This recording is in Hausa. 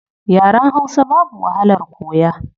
Yaren hausa babu wahalar koya